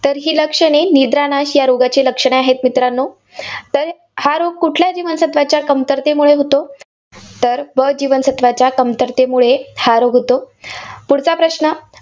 तर ही लक्षणे निद्रानाश ह्या रोगाची लक्षणे आहेत मित्रांनो. तर हा रोग कुठल्या जीवनसत्त्वाच्या कमतरतेमुळे होतो? तर ब जीवनसत्त्वाच्या कमतरतेमुळे हा रोग होतो. पुढचा प्रश्न.